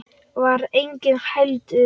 Þar var enginn heldur.